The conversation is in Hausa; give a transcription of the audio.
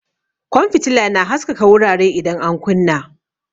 Kwan fitila na haskaka wurare idan an kunna.